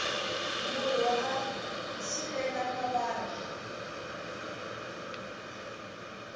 murhi waku sivela mavabyi